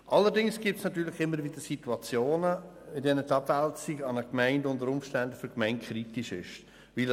Allerdings gibt es natürlich Situationen, in denen die Abwälzung für die betroffene Gemeinde kritisch ist.